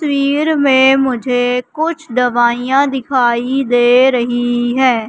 तस्वीर में मुझे कुछ दवाइयां दिखाई दे रही है।